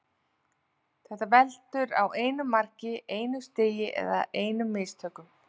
Þetta veltur á einu mark, einu stigi eða einum mistökum.